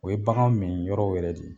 O ye bakanw mi yɔrɔ wɛrɛ de ye.